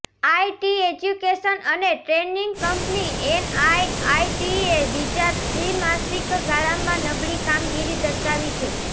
IT education અને training company એનઆઇઆઇટીએ બીજા ત્રિમાસિક ગાળામાં નબળી કામગીરી દર્શાવી છે